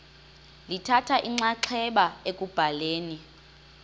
lithatha inxaxheba ekubhaleni